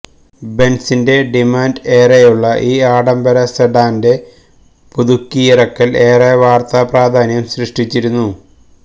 ബെന്സിന്റെ demand ഏറെയുള്ള ഈ ആഡംബര സെഡാന്റെ പുതുക്കിയിറക്കല് ഏറെ വാര്ത്താ പ്രാധാന്യം സൃഷ്ടിച്ചിരുന്നു